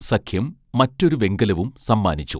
സഖ്യം മറ്റൊരു വെങ്കലവും സമ്മാനിച്ചു